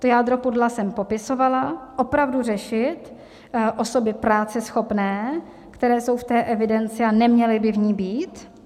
To jádro pudla jsem popisovala: opravdu řešit osoby práceschopné, které jsou v té evidenci, a neměly by v ní být.